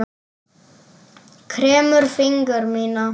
Kremur fingur mína.